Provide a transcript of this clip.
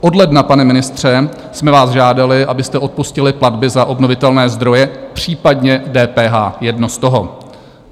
Od ledna, pane ministře, jsme vás žádali, abyste odpustili platby za obnovitelné zdroje, případně DPH, jedno z toho.